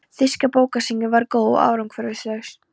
Þýska bókasýningin var góð, en árangurslaus.